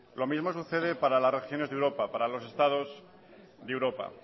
lo mismo sucede para las regiones de europa para los estados de europa